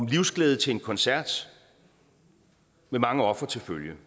livsglæde til en koncert med mange ofre til følge